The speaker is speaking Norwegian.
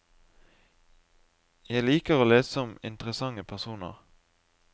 Jeg liker å lese om interessante personer.